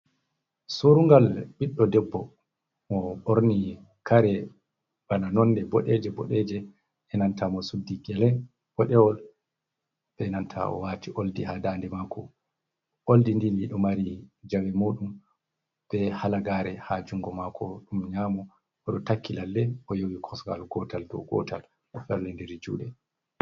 Surungal ɓiɗɗo debbo mo ɓorni kare bana nonde boɗeje -boɗeje e'nanta mo suddi gele boɗewol be nanta owati oldi haa daande mako. Oldi ndi, ndi ɗo mari jawe moɗum be halagare ha jungo mako ɗum nyamo, oɗo takki lalle oyowi kosugal gotal dow gotal ofellindiri juɗe.